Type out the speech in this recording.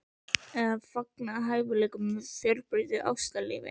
Eða fargað hæfileikanum með of fjölbreyttu ástalífi?